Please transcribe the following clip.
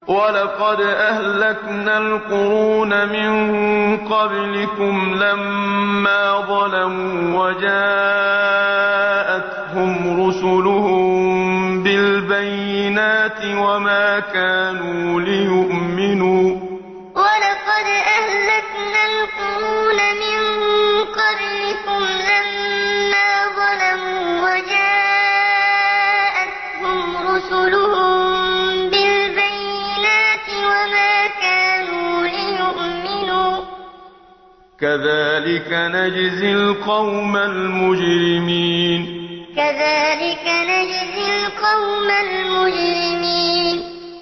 وَلَقَدْ أَهْلَكْنَا الْقُرُونَ مِن قَبْلِكُمْ لَمَّا ظَلَمُوا ۙ وَجَاءَتْهُمْ رُسُلُهُم بِالْبَيِّنَاتِ وَمَا كَانُوا لِيُؤْمِنُوا ۚ كَذَٰلِكَ نَجْزِي الْقَوْمَ الْمُجْرِمِينَ وَلَقَدْ أَهْلَكْنَا الْقُرُونَ مِن قَبْلِكُمْ لَمَّا ظَلَمُوا ۙ وَجَاءَتْهُمْ رُسُلُهُم بِالْبَيِّنَاتِ وَمَا كَانُوا لِيُؤْمِنُوا ۚ كَذَٰلِكَ نَجْزِي الْقَوْمَ الْمُجْرِمِينَ